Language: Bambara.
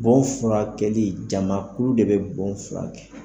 Bɔn furakɛli jamakulu de bɛ bɔn furakɛ!